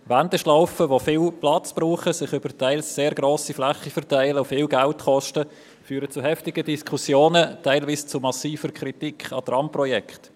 Wendeschlaufen, die viel Platz benötigen, sich über teils sehr grosse Flächen verteilen und viel Geld kosten, führen zu heftigen Diskussionen, teilweise zu massiver Kritik an Tramprojekten.